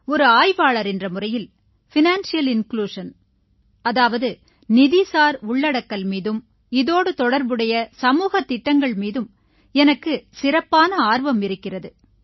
ஒரு ஆய்வாளர் என்ற முறையில் நிதிசார் உள்ளடக்கல் மீதும் இதோடு தொடர்புடைய சமூகத் திட்டங்கள் மீதும் எனக்கு சிறப்பான ஆர்வம் இருக்கிறது